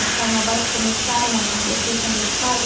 Os carnavais começaram a acontecer quando eu saí.